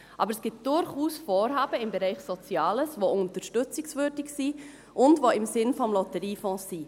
Aber es gibt durchaus Vorhaben im Bereich Soziales, die unterstützungswürdig und im Sinne des Lotteriefonds sind.